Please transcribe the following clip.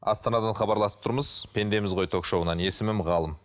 астанадан хабарласып тұрмыз пендеміз ғой ток шоуынан есімім ғалым